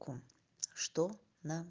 это что на